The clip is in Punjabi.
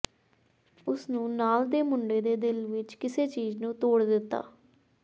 ਉਸ ਨੂੰ ਨਾਲ ਦੇ ਮੁੰਡੇ ਦੇ ਦਿਲ ਵਿਚ ਕਿਸੇ ਚੀਜ਼ ਨੂੰ ਤੋੜ ਦਿੱਤਾ